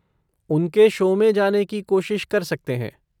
उनके शो में जाने की कोशिश कर सकते हैं।